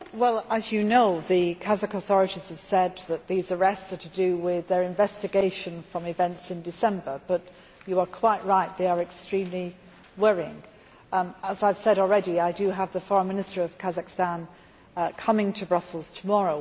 As you know, the Kazakh authorities have said that these arrests are to do with their investigation into events in December but you are quite right, they are extremely worrying. As I have said already, I have the Foreign Minister of Kazakhstan coming to Brussels tomorrow.